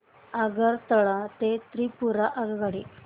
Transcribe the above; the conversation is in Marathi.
आगरतळा ते त्रिपुरा आगगाडी